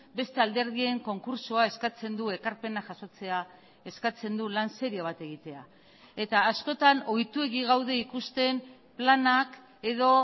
beste alderdien konkurtsoa eskatzen du ekarpena jasotzea eskatzen du lan serio bat egitea eta askotan ohituegi gaude ikusten planak edo